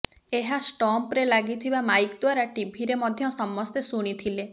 ଏହା ଷ୍ଟମ୍ପରେ ଲାଗିଥିବା ମାଇକ୍ ଦ୍ୱାରା ଟିଭିରେ ମଧ୍ୟ ସମସ୍ତେ ଶୁଣିଥିଲେ